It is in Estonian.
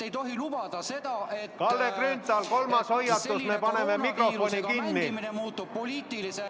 Ei tohi lubada seda, et ...... et selline koroonaviirusega mängimine muutub poliitilise ...